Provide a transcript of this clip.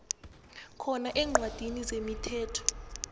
khona eencwadini zemithetho